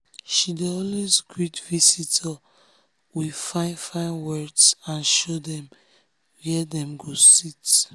she dey always greet visitor with fine fine words and show dem where dem go sit.